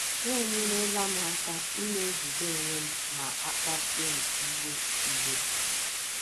Ha enyerela m aka ịna - ejide onwe m ma a kpasuo m iwe iwe.